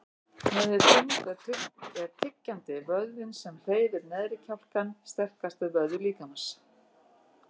Miðað við þyngd er tyggjandi, vöðvinn sem hreyfir neðri kjálkann, sterkasti vöðvi líkamans.